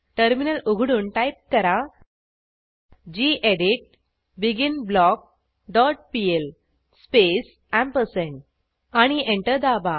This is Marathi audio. टर्मिनल उघडून टाईप करा गेडीत begin block dot PL space ampersand आणि एंटर दाबा